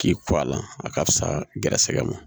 K'i ko a la a ka fisa gɛrɛsɛgɛ ma